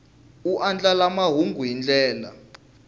u andlala mahungu hi ndlela